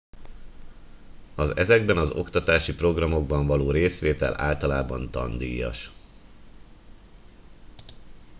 az ezekben az oktatási programokban való részvétel általában tandíjas